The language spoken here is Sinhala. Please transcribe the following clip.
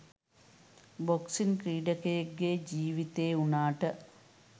බොක්සිං ක්‍රීඩකයෙක්ගෙ ජීවිතේ වුණාට